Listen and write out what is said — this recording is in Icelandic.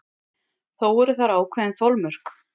Þó eru þar ákveðin þolmörk.